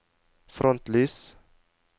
frontlys